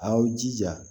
Aw jija